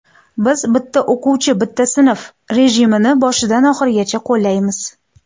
Biz ‘Bitta o‘quvchi bitta sinf’ rejimini boshidan oxirigacha qo‘llaymiz.